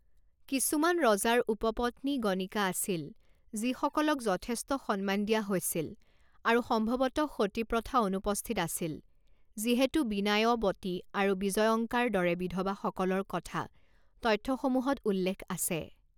কিছুমান ৰজাৰ উপপত্নী গণিকা আছিল যিসকলক যথেষ্ট সন্মান দিয়া হৈছিল আৰু সম্ভৱতঃ সতী প্ৰথা অনুপস্থিত আছিল যিহেতু বিনায়বতী আৰু বিজয়ঙ্কাৰ দৰে বিধবাসকলৰ কথা তথ্যসমূহত উল্লেখ আছে।